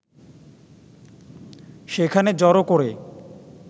সেখানে জড়ো করে